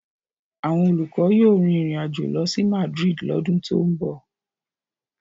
Àwọn olùkọ́ yóò rin ìrìn àjò lọ sí Madrid lọ́dún tó ń bọ̀.